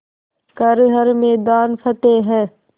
कर हर मैदान फ़तेह